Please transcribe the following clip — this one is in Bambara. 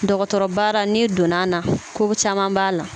Dɔgɔtɔrɔbaara n'i donn'a na ko caman b'a la